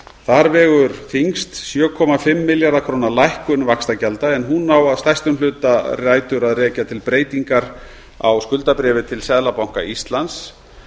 þar vegur þyngst sjötíu og fimm milljarða króna lækkun vaxtagjalda en hún á að stærstum hluta rætur að rekja til breytingar á skuldabréfi til seðlabanka íslands